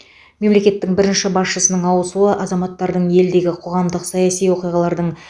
мемлекеттің бірінші басшысының ауысуы азаматтардың елдегі қоғамдық саяси оқиғалардың